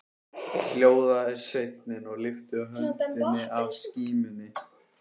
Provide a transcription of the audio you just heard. Hljóðaði sveinninn og lyfti höndinni að skímunni.